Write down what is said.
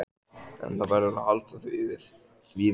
En það verður að halda því við.